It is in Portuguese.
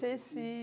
Ceci.